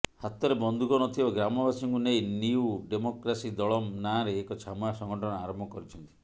ହାତରେ ବନ୍ଧୁକ ନଥିବା ଗ୍ରାମବାସୀଙ୍କୁ ନେଇ ନିୟୁ ଡେମୋକ୍ରାସି ଦଳମ୍ ନାଁରେ ଏକ ଛାମୁଆ ସଂଗଠନ ଆରମ୍ଭ କରିଛନ୍ତି